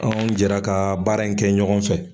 Anw jɛra kaa baara in kɛ ɲɔgɔn fɛ.